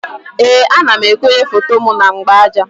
Ee, ana m ekonye foto m na mgbaaja